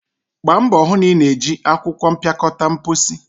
Gbaa mbọ hụ na ị na-eji akwụkwọ mpịakọta mposi!